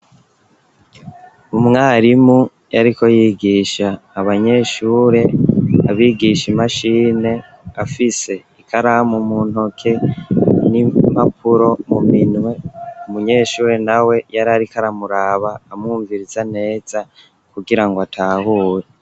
Umwarimu, yariko yigisha abanyeshure, abigisha imashine, afise ikaramu mu ntoke, n'impapuro mu minwe; umunyeshure nawe, yari ariko aramuraba, amwumviriza neza, kugira ngo atahure.